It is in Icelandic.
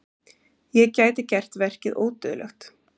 Ég gæti gert verkið ódauðlegt.